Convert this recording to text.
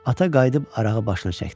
Ata qayıdıb arağı başına çəkdi.